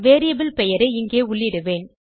variable பெயரை இங்கே உள்ளிடுவேன்